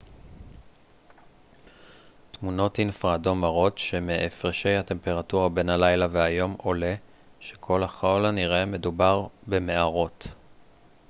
תמונות אינפרה אדום מראות שמהפרשי הטמפרטורה בין הלילה והיום עולה שככל הנראה מדובר במערות